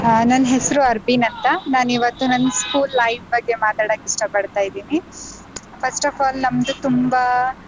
ಆ ನನ್ ಹೆಸ್ರು ಅರ್ಬಿನ್ ಅಂತ, ನಾನಿವತ್ತು ನನ್ school life ಬಗ್ಗೆ ಮಾತಾಡಕ್ ಇಷ್ಟ ಪಡ್ತಾ ಇದ್ದೀನಿ first of all ನಮ್ದು ತುಂಬಾ.